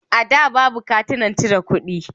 A da, babu katunan cire kuɗi.